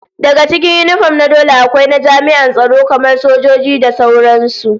Daga cikin yinifom na dole akwai na jami'an tsaro kamar sojoji da sauran su